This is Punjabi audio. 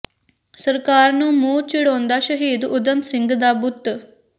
ਸਰਕਾਰ ਨੂੰ ਮੂੰਹ ਚਿੜਾਉਂਦਾ ਸ਼ਹੀਦ ਊਧਮ ਸਿੰਘ ਦਾ ਬੁੱਤ